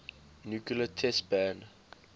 nuclear test ban